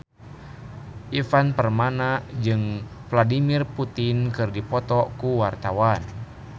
Ivan Permana jeung Vladimir Putin keur dipoto ku wartawan